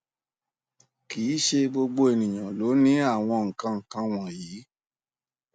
kì í ṣe gbogbo ènìyàn ló ní àwọn nkan nkan wọnyí